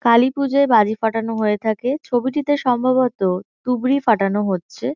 কালীপুজোয় বাজি ফাটানো হয়ে থাকে। ছবিটিতে সম্ভবত তুবড়ি ফাটানো হচ্ছে।